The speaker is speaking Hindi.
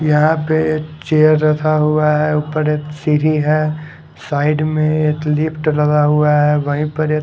यहाँ पे चेयर रखा हुआ है ऊपर एक सीडी है साईड में एक लिफ्ट लगा हुआ है वहींपर एक--